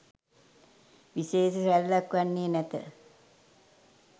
විශේෂ රැල්ලක් වන්නේ නැත.